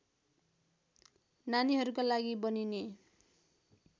नानीहरूका लागि बनिने